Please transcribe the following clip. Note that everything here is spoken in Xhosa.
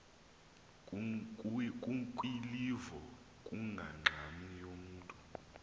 kukwilivo kungangxam yamntu